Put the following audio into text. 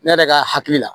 Ne yɛrɛ ka hakili la